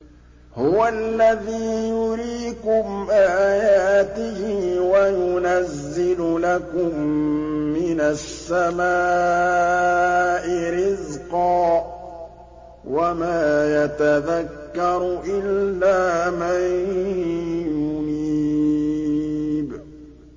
هُوَ الَّذِي يُرِيكُمْ آيَاتِهِ وَيُنَزِّلُ لَكُم مِّنَ السَّمَاءِ رِزْقًا ۚ وَمَا يَتَذَكَّرُ إِلَّا مَن يُنِيبُ